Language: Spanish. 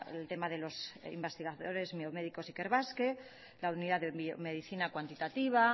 el tema de los investigadores ikerbasque la unidad de medicina cuantitativa